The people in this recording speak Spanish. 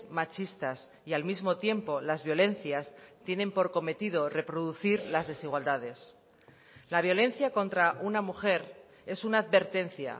machistas y al mismo tiempo las violencias tienen por cometido reproducir las desigualdades la violencia contra una mujer es una advertencia